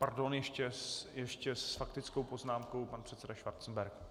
Pardon, ještě s faktickou poznámkou pan předseda Schwarzenberg.